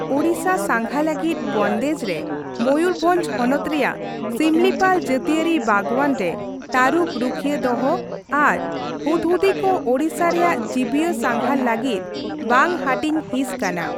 ᱳᱲᱤᱥᱟ ᱥᱟᱸᱜᱷᱟ ᱞᱟᱹᱜᱤᱫ ᱵᱚᱱᱫᱮᱡ ᱨᱮ ᱢᱚᱭᱩᱨᱵᱷᱚᱧᱡ ᱦᱚᱱᱚᱛ ᱨᱮᱭᱟᱜ ᱥᱤᱢᱞᱤᱯᱟᱞ ᱡᱟᱹᱛᱤᱭᱟᱹᱨᱤ ᱵᱟᱜᱽᱣᱟᱱ ᱨᱮ ᱛᱟᱹᱨᱩᱵᱽ ᱨᱩᱠᱷᱤᱭᱟᱹ ᱫᱚᱦᱚ ᱟᱨ ᱦᱩᱫᱽᱦᱩᱫᱤ ᱠᱚ ᱳᱲᱤᱥᱟ ᱨᱮᱭᱟᱜ ᱡᱤᱵᱤᱭᱟᱹ ᱥᱟᱸᱜᱷᱟᱨ ᱞᱟᱹᱜᱤᱫ ᱵᱟᱝ ᱦᱟᱹᱴᱤᱧ ᱦᱤᱸᱥ ᱠᱟᱱᱟ ᱾